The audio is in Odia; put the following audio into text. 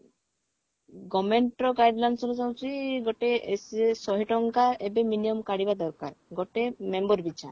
government ର guidelines ରେ ଯାଉଛି ଗୋଟେ ଏସ ଶହେ ଟଙ୍କା ଏବେ minimum କାଢିବା ଦରକାର ଗୋଟେ member ପିଛା